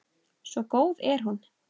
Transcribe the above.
Svo góð er hún.